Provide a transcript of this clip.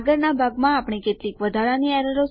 આગળનાં ભાગમાં આપણે કેટલીક વધારાની એરરો સાથે કામ કરીશું